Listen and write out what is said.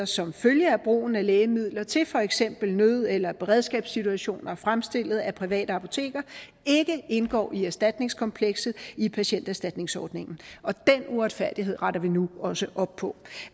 som følge af brugen af lægemidler til for eksempel nød eller beredskabssituationer fremstillet af private apoteker ikke indgår i erstatningskomplekset i patienterstatningsordningen og den uretfærdighed retter vi nu også op på